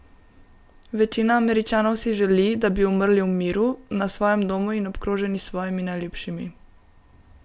Večina Američanov si želi, da bi umrli v miru, na svojem domu in obkroženi s svojimi najljubšimi.